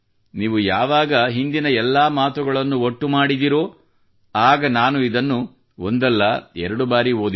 ನೀವು ಯಾವಾಗ ಹಿಂದಿನ ಎಲ್ಲಾ ಮಾತುಗಳನ್ನು ಒಟ್ಟು ಮಾಡಿದಿರೋ ಆಗ ನಾನು ಅದನ್ನು ಒಂದು ಬಾರಿಯಲ್ಲ ಅನೇಕ ಬಾರಿ ಓದಿದೆ